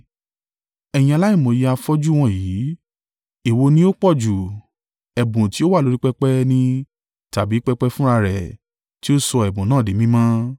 Ẹ̀yin aláìmòye afọ́jú wọ̀nyí! Èwo ni ó pọ̀jù: ẹ̀bùn tí ó wà lórí pẹpẹ ni tàbí pẹpẹ fúnra rẹ̀ tí ó sọ ẹ̀bùn náà di mímọ́?